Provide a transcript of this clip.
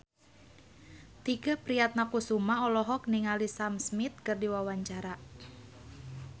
Tike Priatnakusuma olohok ningali Sam Smith keur diwawancara